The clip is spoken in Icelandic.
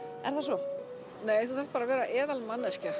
er það svo nei þú þarft bara að vera